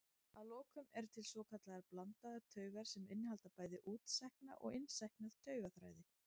Að lokum eru til svokallaðar blandaðar taugar sem innihalda bæði útsækna og innsækna taugaþræði.